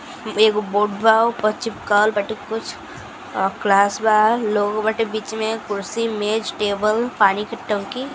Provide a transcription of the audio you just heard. एगो बोर्ड बा उपर चिपकावल बाटे कुछ क्लास बा लोग बाटे बिच में कुर्सीमेज टेबल पानी की टंकी --